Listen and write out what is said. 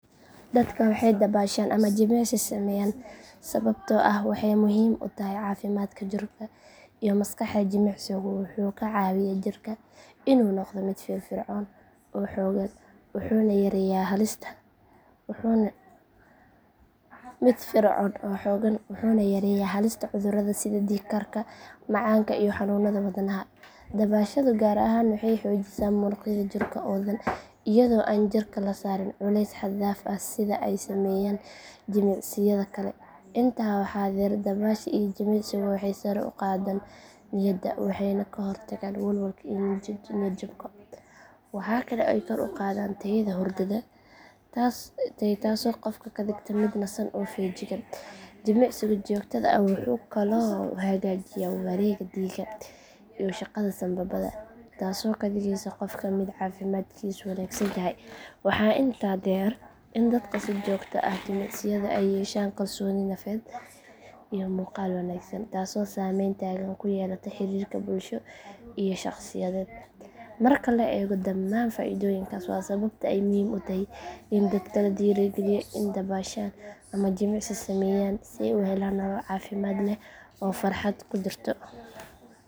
Dadka waxay dabaashaan ama jimicsi sameeyaan sababtoo ah waxay muhiim u tahay caafimaadka jirka iyo maskaxda. Jimicsigu wuxuu ka caawiyaa jirka inuu noqdo mid firfircoon oo xooggan wuxuuna yareeyaa halista cudurrada sida dhiig karka macaanka iyo xanuunada wadnaha. Dabaashadu gaar ahaan waxay xoojisaa muruqyada jirka oo dhan iyadoo aan jirka la saarin culays xad dhaaf ah sida ay sameeyaan jimicsiyada kale. Intaa waxaa dheer dabaasha iyo jimicsigu waxay sare u qaadaan niyadda waxayna ka hortagaan walwalka iyo niyad jabka. Waxa kale oo ay kor u qaadaan tayada hurdada taasoo qofka ka dhigta mid nasan oo feejigan. Jimicsiga joogtada ah wuxuu kaloo hagaajiyaa wareegga dhiigga iyo shaqada sambabada taasoo ka dhigaysa qofka mid caafimaadkiisu wanaagsan yahay. Waxaa intaa dheer in dadka si joogto ah u jimicsada ay yeeshaan kalsooni nafeed iyo muuqaal wanaagsan taasoo saameyn togan ku yeelata xiriirka bulsho iyo shaqsiyeed. Marka la eego dhammaan faa’iidooyinkaas waa sababta ay muhiim u tahay in dadka la dhiirrigeliyo inay dabaashaan ama jimicsi sameeyaan si ay u helaan nolol caafimaad leh oo farxad ku dhisan.